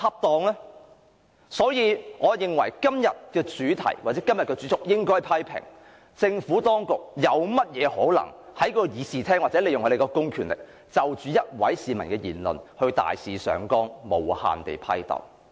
因此，我認為今天的辯論主題應該為：批評政府當局利用公權力在立法會會議廳就一名市民的言論大肆上綱，無限批鬥。